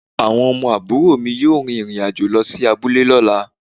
Awon omo aburo mi yoo rin irin ajo lo si abule lola